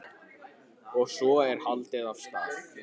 Og svo er haldið af stað.